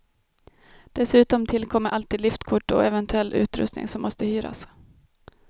Dessutom tillkommer alltid liftkort och eventuell utrustning som måste hyras.